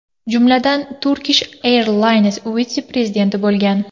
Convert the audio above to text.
Jumladan, Turkish Airlines vitse-prezidenti bo‘lgan.